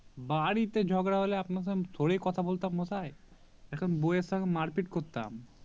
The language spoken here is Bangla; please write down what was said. বাড়িতে ঝগড়া হলে আপনার সঙ্গে থোড়ি কথা বলতাম মশাই এখন বৌ এর সঙ্গে মারপিট করতাম